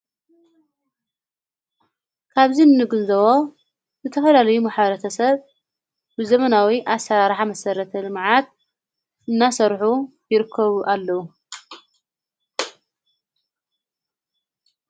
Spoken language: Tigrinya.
ካብዚ ንንግንዘቦ ብተፈላለይ መሓረተሰብ ብዘመናዊ ኣሠርሕ መሠረተመዓት እናሠርሑ ይርከቡ ኣለዉ::